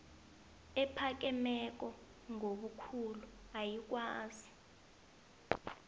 ephakemeko ngobukhulu ayikwazi